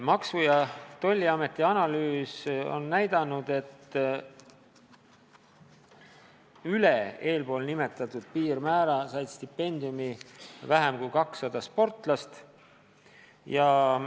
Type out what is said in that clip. Maksu- ja Tolliameti analüüs on näidanud, et üle eelnimetatud piirmäära said stipendiumi veidi vähem kui 200 sportlast.